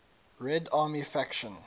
red army faction